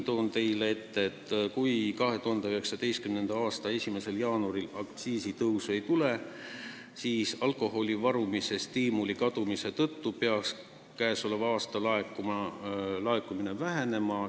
Kui 2019. aasta 1. jaanuaril aktsiisitõusu ei tule, siis peaks alkoholi varumise stiimuli kadumise tõttu käesoleval aastal laekumine vähenema.